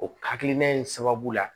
O hakilina in sababu la